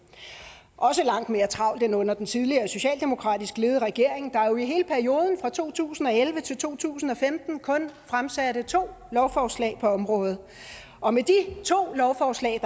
også langt mere travlt end under den tidligere socialdemokratisk ledede regering der jo i hele perioden fra to tusind og elleve til to tusind og femten kunne fremsatte to lovforslag på området og med de to lovforslag